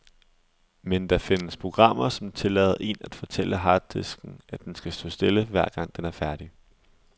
Men der findes programmer, som tillader en at fortælle harddisken, at den skal stå stille, hver gang den er færdig.